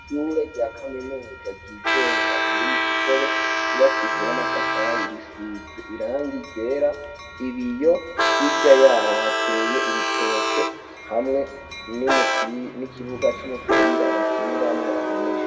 ishure rya kaminuza ry'igenga riri mu kigobe ryubakishijwe n'amatafari risize irangi ryera ibiyo hirya yaho hateye ibitoke hamwe n'ikibuga c'umupira bakiniramwo abanyeshure